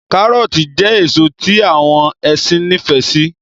Kárọọti jẹ́ èso tí àwọn ẹṣin nifẹ si